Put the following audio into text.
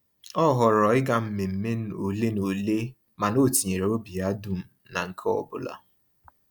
Ọ họọrọ ịga mmemme ole na ole mana o tinyere obi ya dum na nke ọbụla.